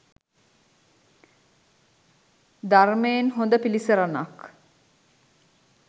ධර්මයෙන් හොඳ පිළිසරණක්